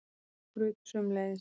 Og skrautið sömuleiðis.